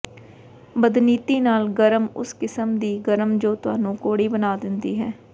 ਬਦਨੀਤੀ ਨਾਲ ਗਰਮ ਉਸ ਕਿਸਮ ਦੀ ਗਰਮ ਜੋ ਤੁਹਾਨੂੰ ਕੌੜੀ ਬਣਾ ਦਿੰਦੀ ਹੈ